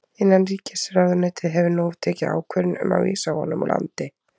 Innanríkisráðuneytið hefur nú tekið ákvörðun um að vísa honum úr landi.